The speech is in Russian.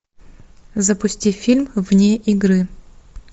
запусти фильм вне игры